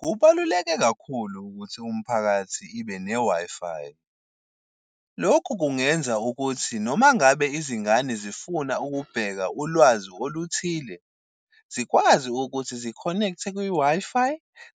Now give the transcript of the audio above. Kubaluleke kakhulu ukuthi umphakathi ibe ne-Wi-Fi. Lokhu kungenza ukuthi noma ngabe izingane zifuna ukubheka ulwazi oluthile, zikwazi ukuthi zi-connect-e kwi-Wi-Fi